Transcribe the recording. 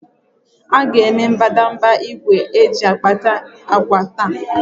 A ga-eme mbadamba igwe eji agbati akwa taa